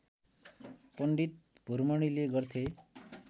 पण्डित भुरमणिले गर्थे